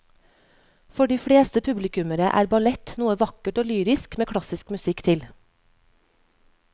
For de fleste publikummere er ballett noe vakkert og lyrisk med klassisk musikk til.